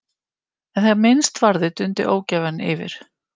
En þegar minnst varði dundi ógæfan yfir.